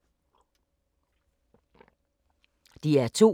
DR2